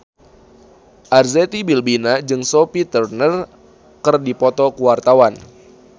Arzetti Bilbina jeung Sophie Turner keur dipoto ku wartawan